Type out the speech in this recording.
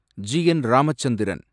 G. N. Ramachandran